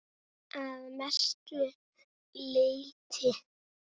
Að mestu leyti